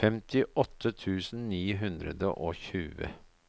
femtiåtte tusen ni hundre og tjue